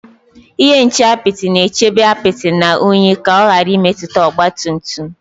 Ihe nche apịtị na-echebe apịtị na unyi ka ọ ghara imetụta ọgba tum tum